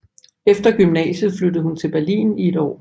Efter gymnasiet flyttede hun til Berlin i et år